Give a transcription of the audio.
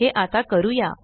हे आता करूया